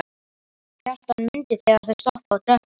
Kjartan mundi þegar þau stóðu á tröppunum.